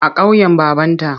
A ƙauyen babanta.